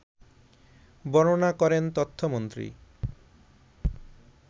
বর্ণনা করেন তথ্যমন্ত্রী